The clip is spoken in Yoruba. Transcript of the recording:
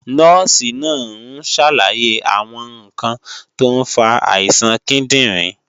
Nọ́ọ̀sì náà ń ṣàlàyé àwọn ǹkan tó ń fa àìsàn kíndìnrín